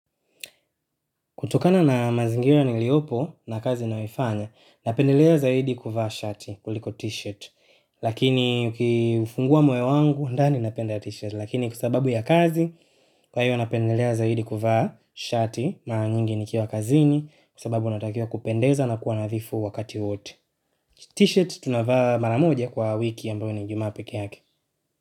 Kutokana na mazingira niliopo na kazi na yoifanya, napendelea zaidi kuvaa shati kuliko t-shirt. Lakini ukifungua moyo wangu, ndani napenda t-shirt. Lakini kwa sababu ya kazi, kwa hiyo napendelea zaidi kuvaa shati mara nyingi nikiwa kazini. Kwa sababu natakiwa kupendeza na kuwa nadhifu wakati wote. T-shirt tunavaa mara moja kwa wiki ambayo ni Ijumaa peke yake.